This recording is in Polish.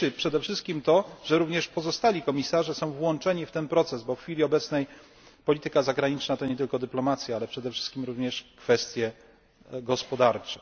Cieszy przede wszystkim to, że również pozostali komisarze są włączeni w ten proces, bo w chwili obecnej polityka zagraniczna to nie tylko dyplomacja, ale przede wszystkim również kwestie gospodarcze.